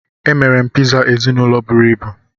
Emere m Pizza ezinụlọ buru ibu